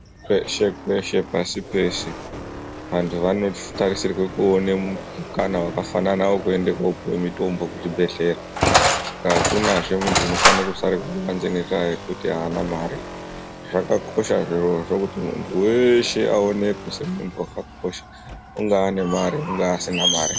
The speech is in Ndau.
Kweshe kweshe pasi peshe vantu vanotarisirwa kuona mukana wakafanana wekuenda kopuhwa mutombo kuzvibhehlera hakunazve muntu unofanira kusara kubanze nekuti haana mare zvakakosha zvirozvo kuti muntu weshe aonekwe semuntu akakosha ungava nemare ungaa asina mare.